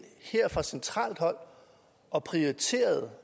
her fra centralt hold og prioriterede